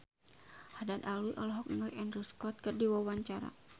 Haddad Alwi olohok ningali Andrew Scott keur diwawancara